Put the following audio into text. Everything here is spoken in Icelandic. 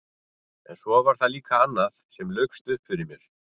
En svo var það líka annað sem laukst upp fyrir mér.